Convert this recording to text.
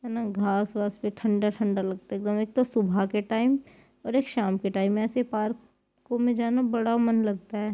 यहाँ न घास वास पे ठंडा-ठंडा लगता है एकदम एक तो सुबह के टाइम और एक शाम के टाइम ऐसे पार्क में जाना बड़ा मन लगता है।